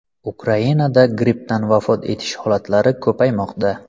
Ukrainada grippdan vafot etish holatlari ko‘paymoqda.